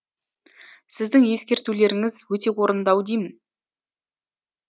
сіздің ескертулеріңіз өте орынды ау деймін